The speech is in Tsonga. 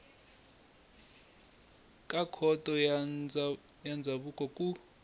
ka khoto ya ndzhavuko ku